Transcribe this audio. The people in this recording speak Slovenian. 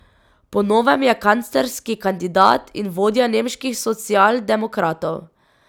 Po novem je kanclerski kandidat in vodja nemških socialdemokratov.